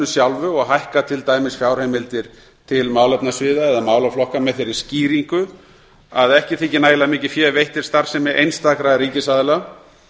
sjálfu og hækkað til dæmis fjárheimildir til málefnasviða eða málaflokka með þeirri skýringu að ekki þyki nægilega mikið fé veitt til starfsemi einstakra ríkisaðila